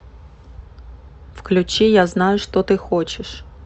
включи я знаю что ты хочешь